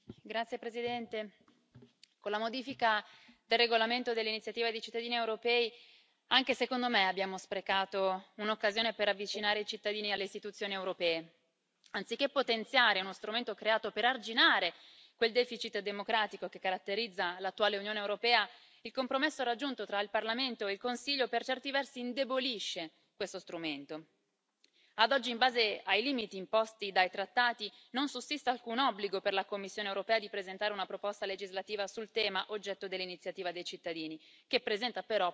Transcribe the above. Signor Presidente, onorevoli colleghi, con la modifica del regolamento sull'iniziativa dei cittadini europei, anche secondo me abbiamo sprecato un'occasione per avvicinare i cittadini alle istituzioni europee. Anziché potenziare uno strumento creato per arginare quel deficit democratico che caratterizza l'attuale Unione europea, il compromesso raggiunto tra il Parlamento e il Consiglio per certi versi indebolisce questo strumento. Ad oggi, in base ai limiti imposti dai trattati, non sussiste alcun obbligo per la Commissione europea di presentare una proposta legislativa sul tema oggetto dell'iniziativa dei cittadini, anche se essa presenta